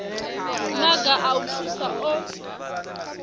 maga a u thusa o